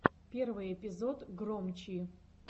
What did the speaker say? первый эпизод громчи